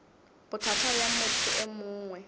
bothata bja motho e mongwe